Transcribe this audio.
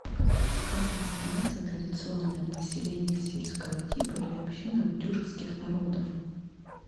как называется традиционное поселение сельского типа или община у тюркских народов